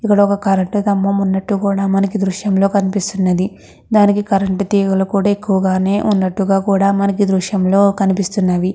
ఇక్కడ ఒక కరెంటు స్థంభం ఉన్నటు కూడా మనకి దృశ్యం లో కనిపిస్తుంది. దానికి కరెంటు తీగలు కూడా ఎక్కువగా ఉన్నటుగ కూడా మనకి ఈ దృశ్యంలో కనిపిస్తున్నది .